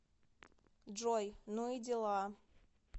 джой ну и дела